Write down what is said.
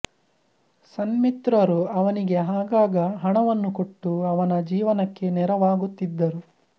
ಸನ್ಮಿತ್ರರು ಅವನಿಗೆ ಆಗಾಗ ಹಣವನ್ನು ಕೊಟ್ಟು ಅವನ ಜೀವನಕ್ಕೆ ನೆರವಾಗುತ್ತಿದ್ದರು